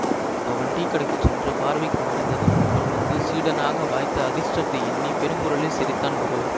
அவன் டீக்கடைக்குச் சென்று பார்வைக்கு மறைந்ததும் இவன் வந்து சீடனாக வாய்த்த அதிர்ஷ்டத்தை எண்ணி பெருங்குரலில் சிரித்தான் குரு